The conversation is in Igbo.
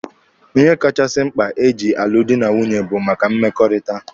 Ihe kachasị mkpa eji alụ dị na nwunye bụ maka mmekọrịta.